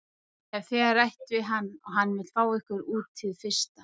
Ég hef þegar rætt við hann og hann vill fá ykkur út hið fyrsta.